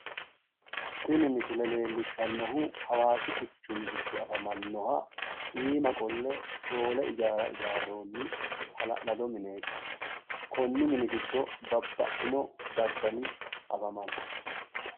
tini misile leellishshannohu hawaasi quchumi giddo afamannoha iima qolle shoole ijaara ijaarroonni hala'lado mineeti. konni mini giddo babbaxxino daddali afamanno.